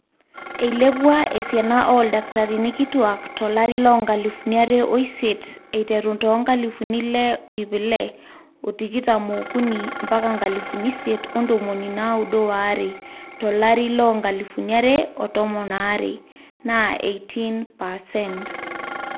eilepua esiana ooldakitarini kituuak tilaari loo nkalifuni are oisiet eiterru toonkalifuni ile ip ile o tikitam ookuni mpaka nkalifuni isiet ontomoni naaudo oare tolarri loo nkalifuni are o tomon aare. naa 18 percent